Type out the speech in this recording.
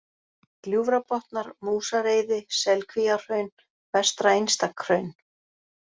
Gljúfrabotnar, Músareiði, Selkvíahraun, Vestra-Einstakhraun